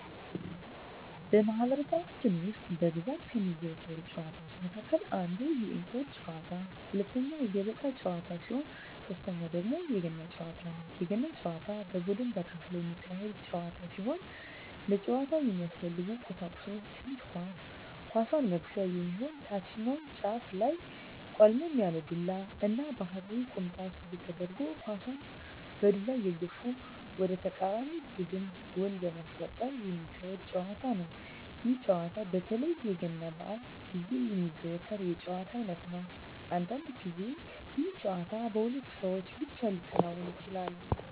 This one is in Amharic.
በማህበረሰባችን ውስጥ በብዛት ከሚዘወተሩ ጨዋታወች መካከል አንደኛ የእንቁር ጨዋታ፣ ሁለተኛ የገበጣ ጨዋታ ሲሆን ሶተኛው ደግሞ የገና ጨዋታ ነው። የገና ጨዋታ በቡድን ተከፍሎ የሚካሄድ ጨዋታ ሲሆን ለጨዋታው የሚያስፈልጉ ቀሳቁሶች ትንሽ ኳስ፣ ኳሷን መግፊያ የሚሆን ታችኛው ጫፉ ላይ ቆልመም ያለ ዱላ እና ባህላዊ ቁምጣ ሱሪ ተደርጎ ኳሳን በዱላ እየገፉ ወደ ተቃራኒ ቡድን ጎል በማስቆጠር ሚካሄድ ጨዋታ ነው። ይህ ጨዋታ በተለይ የገና በአል ግዜ የሚዘወተር የጨዋታ አይነት ነው። አንዳንድ ግዜ ይህ ጨዋታ በሁለት ሰው ብቻ ሊከናወን ይችላል።